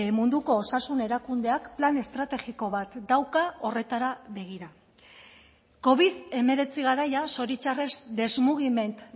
munduko osasun erakundeak plan estrategiko bat dauka horretara begira covid hemeretzi garaia zoritxarrez desmugiment